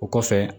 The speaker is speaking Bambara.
O kɔfɛ